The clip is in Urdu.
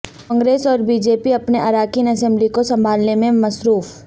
کانگریس اور بی جے پی اپنے اراکین اسمبلی کو سنبھالنے میں مصروف